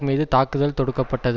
மீது தாக்குதல் தொடுக்கப்பட்டது